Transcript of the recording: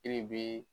E de bɛ